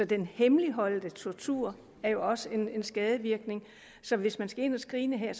den hemmeligholdte tortur er jo også skadevirkende så hvis man skal ind at screene her